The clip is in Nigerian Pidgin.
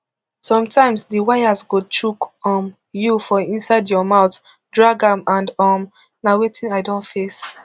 sometimes di wires go chook um you for inside your mouth drag am and um na wetin i don face